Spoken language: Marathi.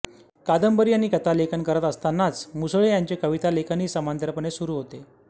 कादंबरी आणि कथालेखन करत असतानाच मुसळे यांचे कवितालेखनही समांतरपणे सुरू होते